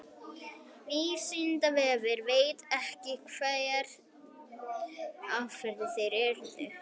vísindavefurinn veit ekki hver afdrif þeirra urðu